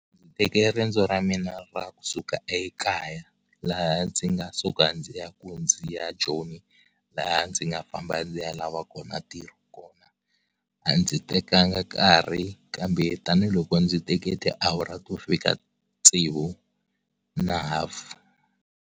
Ndzi teke riendzo ra mina ra kusuka ekaya laha ndzi nga suka ndzi ya ku ndzi ya Joni laha ndzi nga famba ndzi ya lava kona ntirho kona, a ndzi tekanga nkarhi kambe tanihiloko ndzi teke tiawara to fika tsevu na ha .